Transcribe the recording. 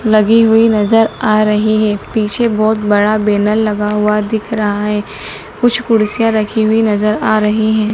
लगी हुई नजर आ रही है पीछे बहोत बड़ा बैनर लगा हुआ दिख रहा है कुछ कुर्सियां रखी हुई नजर आ रही हैं।